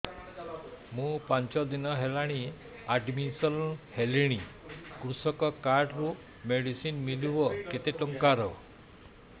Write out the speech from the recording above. ମୁ ପାଞ୍ଚ ଦିନ ହେଲାଣି ଆଡ୍ମିଶନ ହେଲିଣି କୃଷକ କାର୍ଡ ରୁ ମେଡିସିନ ମିଳିବ କେତେ ଟଙ୍କାର